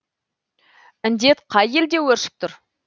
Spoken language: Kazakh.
індет қай елде өршіп тұр